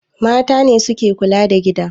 Mata ne suke kula da gida